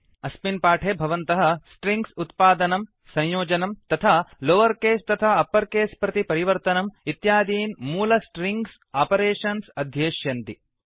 अस्मिन् पाठे भवन्तः स्ट्रिङ्ग्स् उत्पादनम् संयोजनम् तथा लोवर् केस् तथा अप्पर् केस् प्रति परिवर्तनम् इत्यादीन् मूल स्ट्रिङ्ग्स् आपरेषन्स् अध्येष्यन्ति